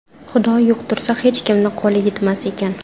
Xudo yuqtirsa, hech kimni qo‘li yetmas ekan.